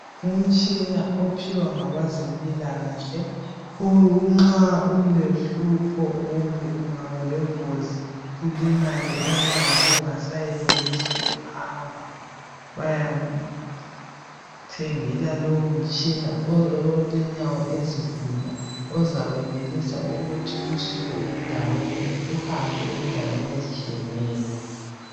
Umtshina ophiwa ngabazempilakahle unxa ulohlupho kumbe ungabalengozi ulimale inyawo ungasayenelisi ukuhamba. Bayakuthengela lowomtshina owo olenyawo ezilula ozakwenza ukuthi usuke endaweni uhambe endaweni ezitshiyeneyo.